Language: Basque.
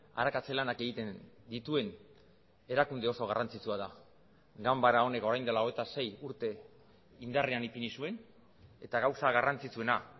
arakatze lanak egiten dituen erakunde oso garrantzitsua da ganbara honek orain dela hogeita sei urte indarrean ipini zuen eta gauza garrantzitsuena